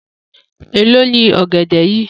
Elo ni ọgẹdẹ yìí?